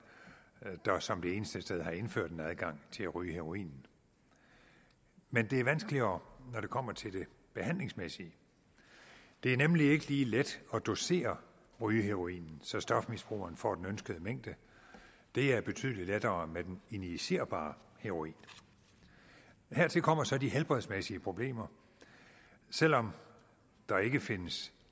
der som det eneste sted har indført en adgang til at ryge heroinen men det er vanskeligere når det kommer til det behandlingsmæssige det er nemlig ikke lige let at dosere rygeheroinen så stofmisbrugeren får den ønskede mængde det er betydelig lettere med den injicerbare heroin hertil kommer så de helbredsmæssige problemer selv om der ikke findes